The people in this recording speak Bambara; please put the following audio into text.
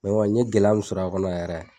n kɔni n ye gɛlɛya min sɔrɔ a kɔnɔ yɛrɛ.